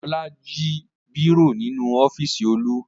Ọlá jí bírò nínú ọ́fíísì Olú.